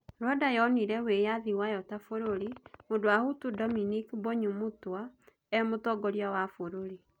Rwanda yonire independence yayo ta bũrũrĩ, mũndũ wa Hutu Dominique Mbonyumutwa e president.